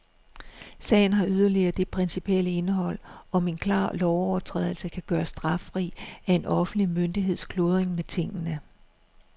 Sagen har yderligere det principielle indhold, om en klar lovovertrædelse kan gøres straffri af en offentlig myndigheds kludren med tingene.